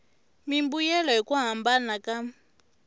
mimbuyelo hi ku hambana ka